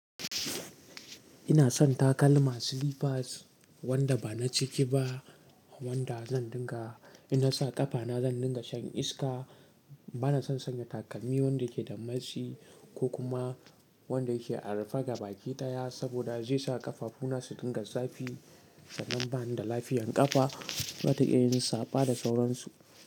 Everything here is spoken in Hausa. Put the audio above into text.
Ina son takalma slippers wanda ba na ciki ba wanda zan dinga in na sa ƙafana zan dinga shan iska. Bana son sanya takalmi wanda ke da matsi ko kuma wanda yake a rufe gabaki ɗaya saboda zai sa ƙafafu na su dinga zafi sannan bani da lafiyan ƙafa. Bata iya yin saɓa da tauransu.